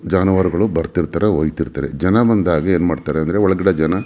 ಜನಗಳು ಬರ್ತಿರ್ತಾರೆ ಹೋಯಿತೀರ್ತಾರೆ ಜನ ಬಂದಾಗ ಏನ್ ಮಾಡ್ ತಾರೆ ಅಂದ್ರೆ ಹೊಲಗಡೆ ಜನ --